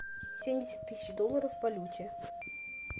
семьдесят тысяч долларов в валюте